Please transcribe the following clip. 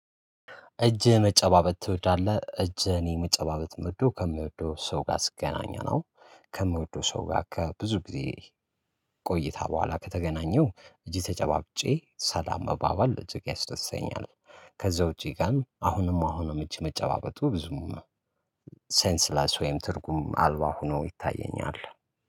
እጅ መጨባበጥ ትወዳለህ እጅ እኔ መጨባበጥ ምወደው ከምወደው ሰው ጋር ስገናኝ ነው ከምወደው ሰው ጋር ከብዙ ጊዜ ቆይታ በኋላ ከተገናኘው እጅ ተጨባብጬ ሰለም መባባል እጅግ ያስደስተኛል። ከዛ ውጪ ግን አሁንም አሁንም እጅ መጨባበጡ ብዙም ሴንስለስ ወይም ትርጉም አልባ ሆኖ ይታየኛል